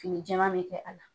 Fini jɛma bɛ kɛ ala.